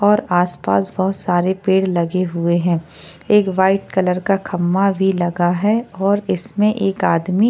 और पासपास बहुत सारे पेड़ लगे हुए है एक वाइट कलर का खंबा भी लगा है और इसमें एक आदमी --